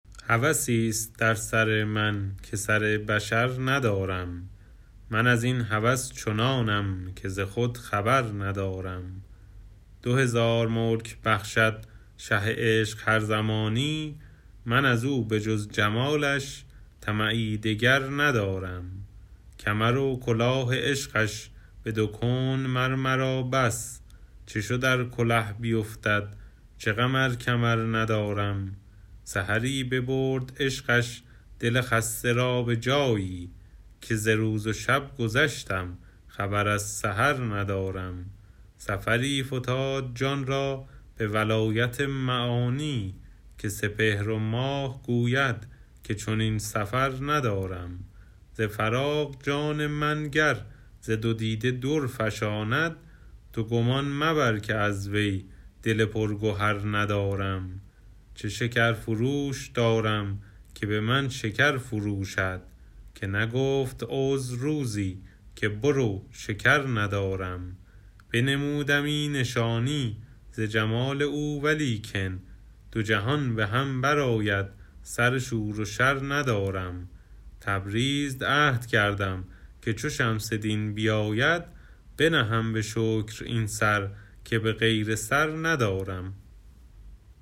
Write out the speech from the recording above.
هوسی است در سر من که سر بشر ندارم من از این هوس چنانم که ز خود خبر ندارم دو هزار ملک بخشد شه عشق هر زمانی من از او به جز جمالش طمعی دگر ندارم کمر و کلاه عشقش به دو کون مر مرا بس چه شد ار کله بیفتد چه غم ار کمر ندارم سحری ببرد عشقش دل خسته را به جایی که ز روز و شب گذشتم خبر از سحر ندارم سفری فتاد جان را به ولایت معانی که سپهر و ماه گوید که چنین سفر ندارم ز فراق جان من گر ز دو دیده در فشاند تو گمان مبر که از وی دل پرگهر ندارم چه شکرفروش دارم که به من شکر فروشد که نگفت عذر روزی که برو شکر ندارم بنمودمی نشانی ز جمال او ولیکن دو جهان به هم برآید سر شور و شر ندارم تبریز عهد کردم که چو شمس دین بیاید بنهم به شکر این سر که به غیر سر ندارم